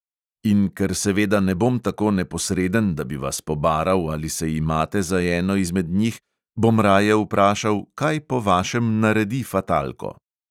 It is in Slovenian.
In ker seveda ne bom tako neposreden, da bi vas pobaral, ali se imate za eno izmed njih, bom raje vprašal: kaj po vašem naredi fatalko?